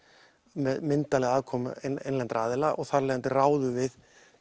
með myndarlegri aðkomu innlendra aðila og þarf af leiðandi ráðum við